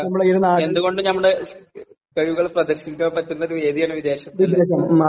എന്തുകൊണ്ടും നമ്മുടെ കഴിവുകളൊക്കെ പ്രദർശിപ്പിക്കാൻ പറ്റുന്ന ഒരു വേദിയാണ് വിദേശം.